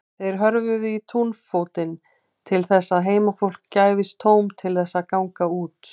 Þeir hörfuðu í túnfótinn til þess að heimafólki gæfist tóm til þess að ganga út.